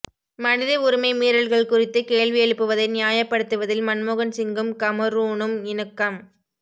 மனித உரிமை மீறல்கள் குறித்து கேள்வி எழுப்புவதை நியாயப்படுத்துவதில் மன்மோகன்சிங்கும் கமரூனும் இணக்கம்